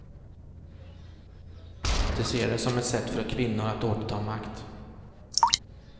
De ser den som ett sätt för kvinnor att återta makt.